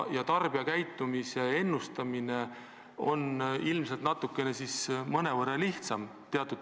Tarbijakäitumise ennustamine on teatud küsimustes ilmselt mõnevõrra lihtsam.